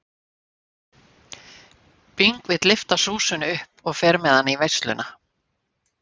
Bing vill lyfta Súsönnu upp og fer með hana í veisluna.